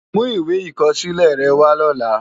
Mú iwé ikòsilè rè wá lòlá